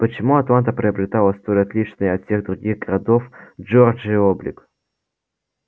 почему атланта приобретала столь отличный от всех других городов джорджии облик